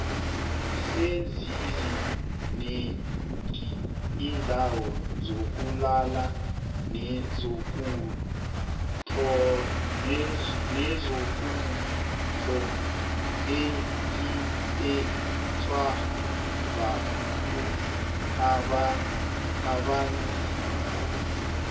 sezizi nengi indawo zokulala nezokudlo etziphethwe bontu abanzima